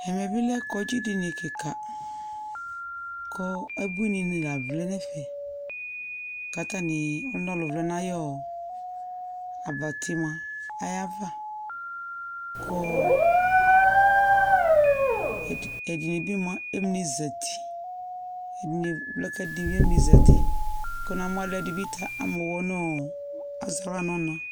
Ɛmɛ bɩ lɛ kɔŋdzɩ dini kɩka kɔ ebuininɩ la vlɛ n'ɛfɛ k'atanɩ, ɔlʋnɔlʋ vlɛ n'ayɔɔ abati mʋa ava kʋ ɔɔ ɛdɩnɩ bɩ mua, emli zati, ɛdɩnɩ vlɛ k'ɛdɩnɩ emli zati, kʋ na mʋ ɔlʋɛdɩ bɩ ta am'aɣla nʋ ɔɔ az'aɣla ɔna